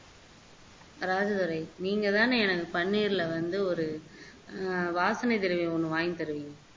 அதாவது துரை நீங்க தானே எனக்கு பன்னிருல வந்து ஒரு வாசனை திரவியம் ஒண்ணு வாங்கி தருவீங்க